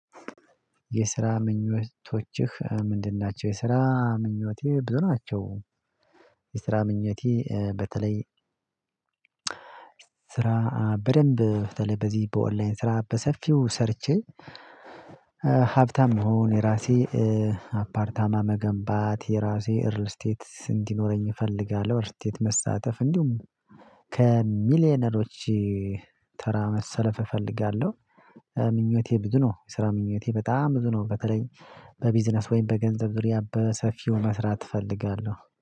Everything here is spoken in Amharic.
የስራ ምኞቶችህ ምንድን? ናቸው የስራ ምኞቴ ብዙ ናቸው። የስራ ምኞቴ በተለይ። ስራ በደንብ በተለይ በዚህ በኦንላይን ስራ በሰፊው ሰርቼ። ሀብታም እሁን የራሴ አፓርታማ መገንባት የራሴ እርል ስቴት እንዲኖረኝ እፈልጋለሁ። እርል ስቴት መሳተፍ እንዲሁም ከሚሊየነሮች ተራ መሰለፍ እፈልጋለሁ። ምኞቴ ብዙ ነው። የስራ ምኞቴ በጣም ብዙ ነው። በተለይ በቢዝነስ ወይም በገንዘብ ዙሪያ በሰፊው መስራት እፈልጋለሁ